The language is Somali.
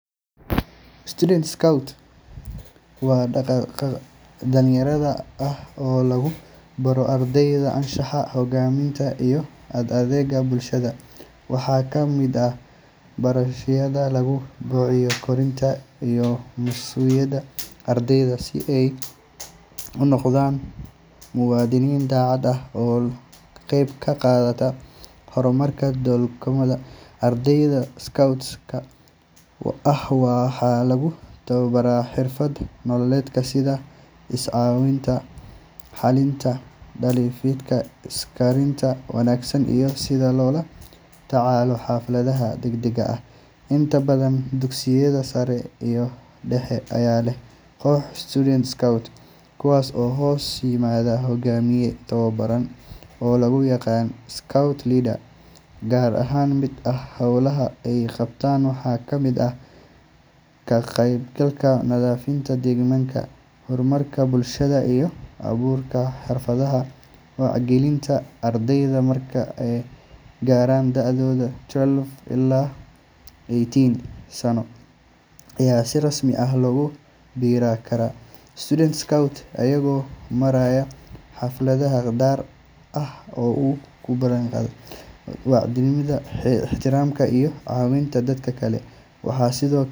Student scout waa dhaqdhaqaaq dhalinyaro ah oo lagu baro ardayda anshaxa, hogaaminta, iyo adeegga bulshada. Waxay ka mid tahay barnaamijyada lagu kobciyo kartida iyo mas’uuliyadda ardayda si ay u noqdaan muwaadini daacad ah oo ka qayb qaata horumarka dalkooda. Ardayda scouts-ka ah waxaa lagu tababbaraa xirfado nololeed sida is-caawinta, xallinta khilaafaadka, isgaarsiinta wanaagsan, iyo sida loola tacaalo xaaladaha degdegga ah. Inta badan dugsiyada sare iyo dhexe ayaa leh kooxo student scouts, kuwaas oo hoos yimaada hogaamiye tababbaran oo loo yaqaan scout leader. Qaar ka mid ah howlaha ay qabtaan waxaa ka mid ah ka qaybgalka nadiifinta deegaanka, gurmadka bulshada, iyo abaabulka xafladaha wacyigelinta. Ardayda marka ay gaaraan da’da twelve ilaa eighteen sano ayaa si rasmi ah ugu biiri kara student scout, iyagoo maraya xaflad dhaar ah oo ay ku ballanqaadaan daacadnimo, ixtiraam, iyo caawinta dadka kale. Waxaa sidoo.